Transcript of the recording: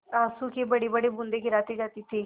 आँसू की बड़ीबड़ी बूँदें गिराती जाती थी